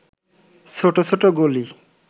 ছোট ছোট গলি